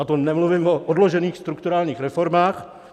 A to nemluvím o odložených strukturálních reformách.